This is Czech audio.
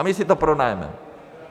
A my si to pronajmeme.